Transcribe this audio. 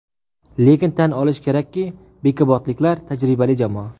Lekin, tan olish kerak bekobodliklar tajribali jamoa.